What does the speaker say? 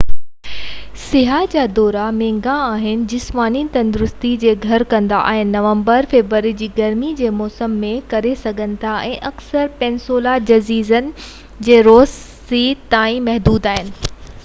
سياح جا دورا مهنگا آهن جسماني تندرستي جي گهر ڪندا آهن نومبر-فيبروري جي گرمي جي موسم ۾ ڪري سگهن ٿا ۽ اڪثر پيننسولا جزيرن ۽ روز سي تائين محدود آهن